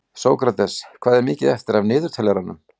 Hver er þetta spurði Penélope sem var nú öll að koma til.